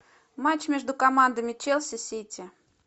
матч между командами челси сити